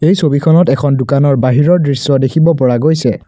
এই ছবিখনত এখন দোকানৰ বহিৰৰ দৃশ্য দেখিব পৰা গৈছে।